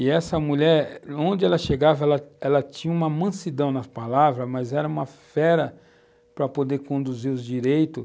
E essa mulher, onde ela chegava, ela tinha uma mansidão nas palavras, mas era uma fera para poder conduzir os direitos.